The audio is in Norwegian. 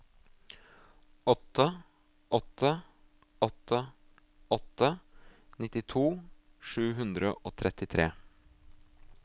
åtte åtte åtte åtte nittito sju hundre og trettitre